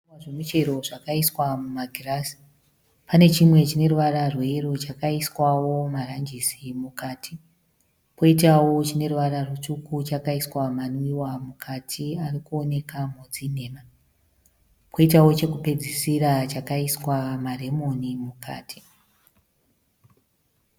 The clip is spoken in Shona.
Zvinwiwa zvemuchero zvakaiswa mumagirazi. Pane chimwe chine ruvara rweyero chakaiswawo maranjisi mukati, poitawo chine ruvara rutsvuku chakaiswa manwiwa mukati ari kuonekwa modzi nhema, koitawo chokupedzisira chakaiswa maremoni mukati.